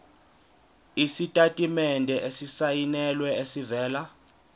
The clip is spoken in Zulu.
isitatimende esisayinelwe esivela